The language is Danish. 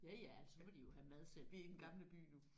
Ja ja ellers så må de jo have mad selv